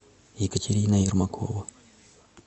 екатерина ермакова